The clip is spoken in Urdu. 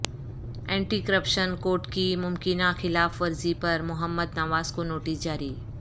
اینٹی کرپشن کوڈ کی ممکنہ خلاف ورزی پر محمد نواز کو نوٹس جاری